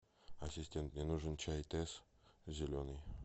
ассистент мне нужен чай тесс зеленый